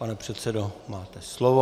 Pane předsedo, máte slovo.